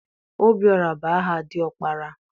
Obiọra bụ aha dị ọkpara.